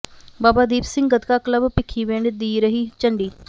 ਬਾਬਾ Deep Singh gatka club Bhikhiwind ਦੀ ਰਹੀ ਝੰਡੀ